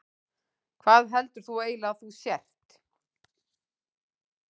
Hvað heldur þú eiginlega að þú sért?